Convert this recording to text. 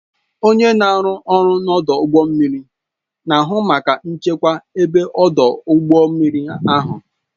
Onye na-arụ ọrụ n'ọdụ ụgbọ mmiri na-ahụ maka nchekwa ebe ọdụ ụgbọ mmiri ahụ